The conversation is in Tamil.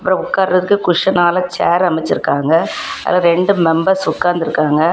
இங்க உக்காரதுக்கு குஷனால சேர் அமைச்சிருக்காங்க அதுல ரெண்டு மெம்பர்ஸ் உக்காந்திருக்காங்க.